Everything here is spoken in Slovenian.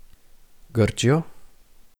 Grčijo?